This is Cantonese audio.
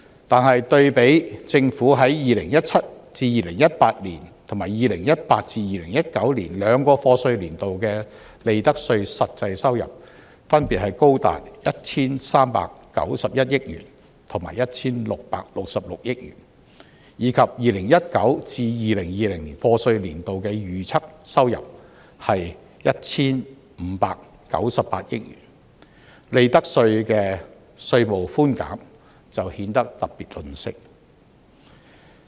可是，對比政府於 2017-2018 及 2018-2019 兩個課稅年度的利得稅實際收入，分別高達 1,391 億元和 1,666 億元，以及 2019-2020 課稅年度的預測收入是 1,596 億元，利得稅的稅務寬減就顯得特別吝嗇。